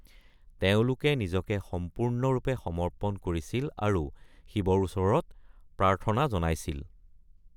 তেওঁলোকে নিজকে সম্পূৰ্ণৰূপে সমৰ্পণ কৰিছিল আৰু শিৱৰ ওচৰত প্ৰাৰ্থনা জনাইছিল।